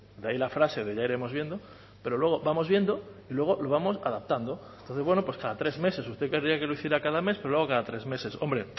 de ahí la frase de ya iremos viendo pero luego vamos viendo y luego lo vamos adaptando entonces bueno pues cada tres meses usted querría que lo hiciera cada mes pero lo hago cada tres meses hombre